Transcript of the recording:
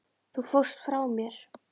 Þú fórst frá mér.